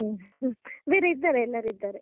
ಬೇರೇ ಇದ್ದಾರೆ ಎಲ್ಲಾರು ಇದ್ದಾರೆ.